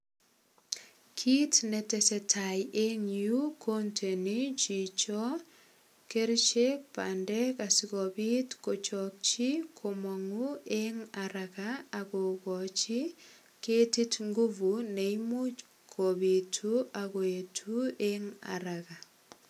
Kit netesetai eng yu kondeni chicho kerichek bandek asigopit kochokchi komangu eng araga kogochi ketit nguvu ne imuch kopitu ak koet en araga.